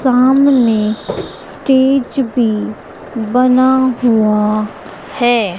सामने स्टेज भी बना हुआ है।